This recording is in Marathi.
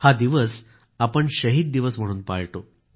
हा दिवस आपण शहीद दिवस म्हणून पाळतो